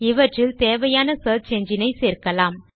இவற்றில் தேவையான search engine ஐ சேர்க்கலாம்